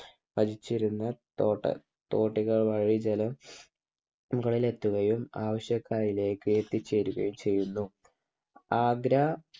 വലിച്ചിരുന്ന തോട തോടുകൾ വഴി ജലം മുകളിൽ എത്തുകയും ആവശ്യക്കാരിലേക്ക് എത്തിച്ചേരുകയും ചെയ്യുന്നു. ആഗ്ര